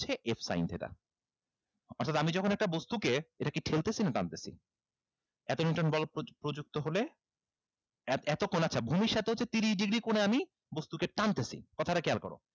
হচ্ছে f sin theta আসলে আমি যখন একটা বস্তুকে এটা কি ঠেলতেছি না টানতেছি এতো neuton বল প্রযুক্ত হলে এতো কোণ আচ্ছা ভূমির সাথে হচ্ছে তিরিশ degree কোণে আমি বস্তুকে টানতেছি কথাটা খেয়াল করো